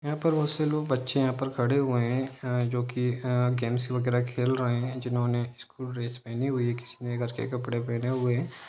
यहा पर बहुत से लोग बच्चे यहा पर खड़े हुए है अ जो कि अ गेम्स वगैरा खेल रहे है जिन्होंने स्कुल ड्रेस पहनी हुई है किसी ने घर के कपडे पहने हुए हैं।